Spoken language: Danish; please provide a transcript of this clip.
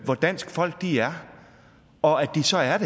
hvor danske folk er og at de så er